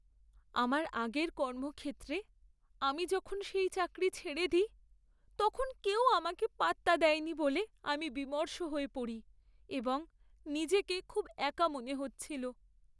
আমার আগের কর্মক্ষেত্রে আমি যখন সেই চাকরি ছেড়ে দিই, তখন কেউ আমাকে পাত্তা দেয়নি বলে আমি বিমর্ষ হয়ে পড়ি এবং নিজেকে খুব একা মনে হচ্ছিল।